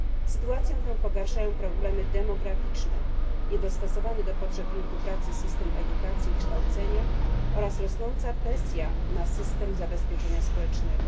Sytuację tę pogarszają problemy demograficzne, niedostosowany do potrzeb rynku pracy system edukacji i kształcenia oraz rosnąca presja na system zabezpieczenia społecznego.